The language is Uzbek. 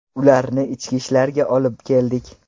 Ularni Ichki ishlarga olib keldik.